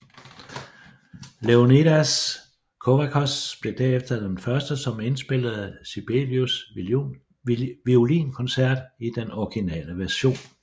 Leonidas Kavakos blev derefter den første som indspillede Sibelius Violinkoncert i den originale version